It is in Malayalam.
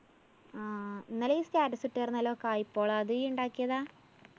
ആ ഇന്നലെ ഇയ്യ്‌ status ഇട്ടാരുന്നല്ലോ കായ്പോള. അത് ഇയ്യ്‌ ഇണ്ടാക്കിയതാ?